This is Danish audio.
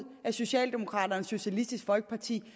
af socialdemokraterne og socialistisk folkeparti